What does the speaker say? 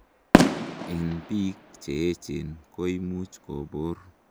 en biik Cheechen, koimuch kobur